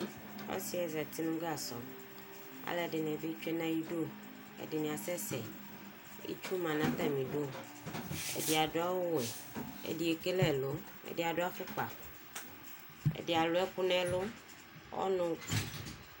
osiɛ zɛti nu gasɔ alɛdini bi tsue na ayidu ɛdini asɛsɛ itchu ma na tami du ɛdi adu awu ɣɛ ɛdi ekele ɛlu ɛdi adu afukpa ɛdi alu ɛku nɛ ɛlu ɔnu